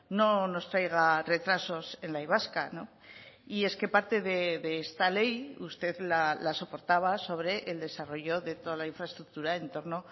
no nos traiga retrasos en la y vasca y es que parte de esta ley usted la soportaba sobre el desarrollo de toda la infraestructura en torno